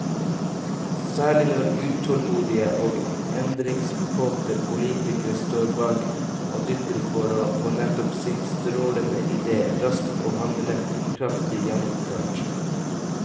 Særlig når utålmodige og endringskåte politikere står bak og dytter for å få nettopp sin strålende idé raskt og handlekraftig gjennomført.